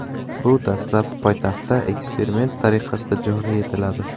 Bu dastlab poytaxtda eksperiment tariqasida joriy etiladi.